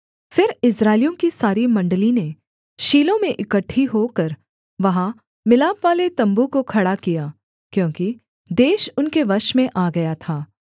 फिर इस्राएलियों की सारी मण्डली ने शीलो में इकट्ठी होकर वहाँ मिलापवाले तम्बू को खड़ा किया क्योंकि देश उनके वश में आ गया था